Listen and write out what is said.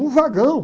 Um vagão!